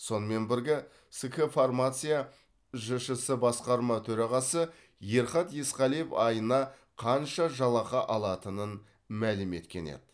сонымен бірге ск фармация жшс басқарма төрағасы ерхат есқалиев айына қанша жалақы алатынын мәлім еткен еді